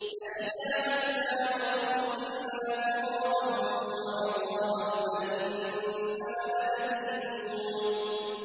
أَإِذَا مِتْنَا وَكُنَّا تُرَابًا وَعِظَامًا أَإِنَّا لَمَدِينُونَ